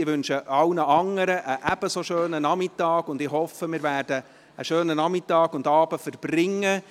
Ich wünsche allen anderen einen ebenso schönen Nachmittag und hoffe, wir werden einen schönen Nachmittag und Abend verbringen.